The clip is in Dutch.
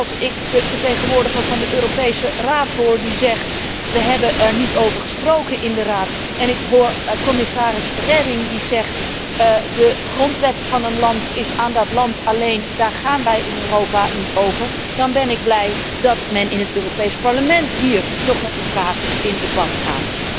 Want als ik de vertegenwoordiger van de Europese Raad hoor zeggen We hebben er niet over gesproken in de Raad, en ik hoor commissaris Reding zeggen De grondwet van een land is aan dat land alleen, daar gaan wij in Europa niet over, dan ben ik blij dat wij in het Europees Parlement hier nog met mekaar in debat gaan.